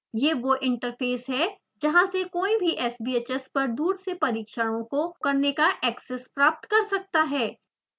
यह वो इंटरफ़ेस है जहाँ से कोई भी sbhs पर दूर से परीक्षणों को करने का एक्सेस प्राप्त कर सकता है